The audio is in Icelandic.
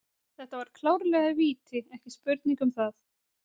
Þetta var klárlega víti, ekki spurning um það.